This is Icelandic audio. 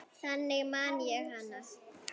Þannig man ég hana.